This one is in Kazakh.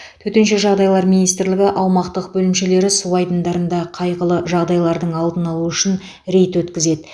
төтенше жағдайлар министрлігі аумақтық бөлімшелері су айдындарда қайғылы жағдайлардың алдын алу үшін рейд өткізеді